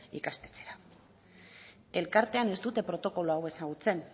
ikastetxera elkartean ez dute protokolo hau ezagutzen